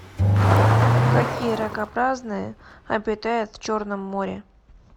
какие ракообразные обитают в черном море